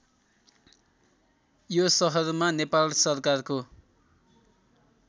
यो सहरमा नेपाल सरकारको